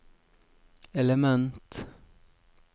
element